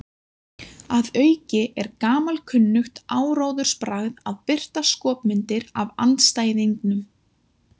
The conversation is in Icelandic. Að auki er gamalkunnugt áróðursbragð að birta skopmyndir af andstæðingnum.